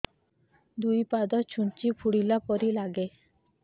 ଦୁଇ ପାଦ ଛୁଞ୍ଚି ଫୁଡିଲା ପରି ଲାଗେ